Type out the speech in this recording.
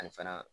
A fana